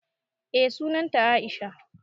Eh sunan ta Aisha.